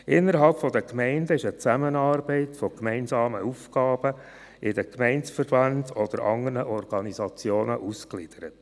Innerhalb der Gemeinden ist eine Zusammenarbeit in gemeinsamen Aufgaben in die Gemeindeverbände oder in andere Organisationen ausgegliedert.